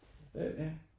Øh ja